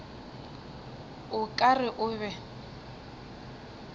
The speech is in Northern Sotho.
o ka re o be